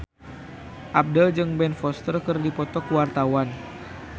Abdel jeung Ben Foster keur dipoto ku wartawan